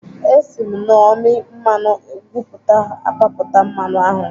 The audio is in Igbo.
Esi m n'ọmị mmanụ ugwuta apapụta mmanụ ahụ.